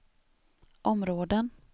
områden